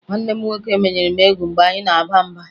Nwanne m nwoke menyere m egwu mgbe anyị na-aba mba